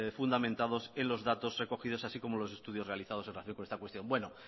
fundamentados en los datos recogidos así como los estudios realizados en relación con esta cuestión